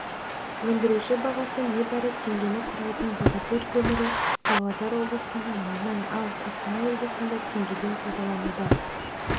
өндіруші бағасы небәрі теңгені құрайтын богатырь көмірі павлодар облысында мыңнан ал қостанай облысында теңгеден саудалануда